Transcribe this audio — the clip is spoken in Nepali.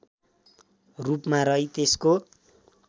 रूपमा रही त्यसको